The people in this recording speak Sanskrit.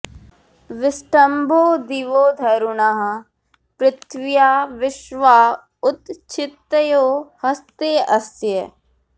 विष्टम्भो दिवो धरुणः पृथिव्या विश्वा उत क्षितयो हस्ते अस्य